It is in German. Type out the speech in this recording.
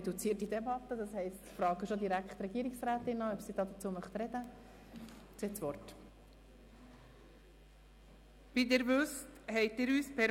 Wir haben alle Hebel in Bewegung gesetzt, um den Auftrag zu erfüllen.